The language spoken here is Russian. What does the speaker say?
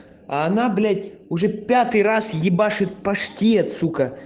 а она блять уже пятый раз ебашит паштет сука